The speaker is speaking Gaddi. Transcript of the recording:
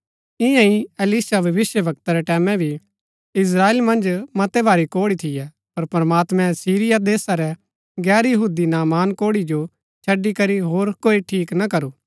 ईयां ही एलीशा भविष्‍यवक्ता रै टैमैं भी इस्त्राएल मन्ज मतै भारी कोढ़ी थियै पर प्रमात्मैं सीरिया देशा रै गैर यहूदी नामान कोढ़ी जो छड़ी करी होर कोई ठीक ना करू